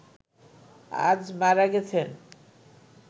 আজ মারা গেছেন